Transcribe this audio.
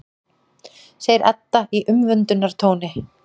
segir Edda í umvöndunartóni.